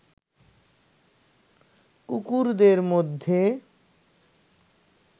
কুকুরদের মধ্যে